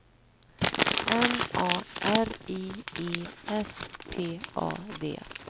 M A R I E S T A D